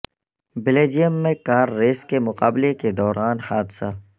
Belgium میں car race کے مقابلے کے دوران حادثہ